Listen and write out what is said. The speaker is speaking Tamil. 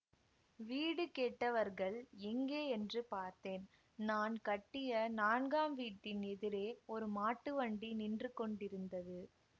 வீடு கேட்டவர்கள் எங்கே என்று பார்த்தேன் நான் கட்டிய நான்காம் வீட்டின் எதிரே ஒரு மாட்டு வண்டி நின்று கொண்டிருந்தது